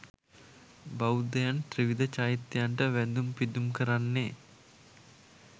බෞද්ධයන් ත්‍රිවිධ චෛත්‍යයන්ට වැඳුම් පිදුම් කරන්නේ්